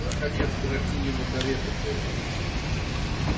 наконец графинину карету подали